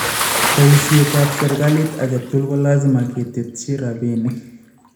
Bayiisyoetab serikalit ake tugul kolaasima keteetchi rabiniik